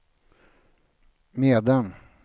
medan